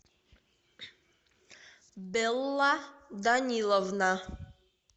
белла даниловна